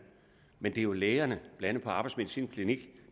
men det er jo lægerne blandt andet på arbejdsmedicinsk klinik